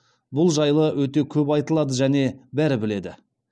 бұл жайлы өте көп айтылады және бәрі біледі